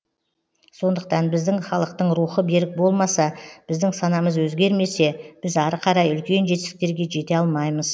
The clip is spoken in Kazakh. сондықтан біздің халықтың рухы берік болмаса біздің санамыз өзгермесе біз ары қарай үлкен жетістіктерге жете алмаймыз